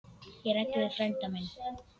Ég ræddi við frænda minn.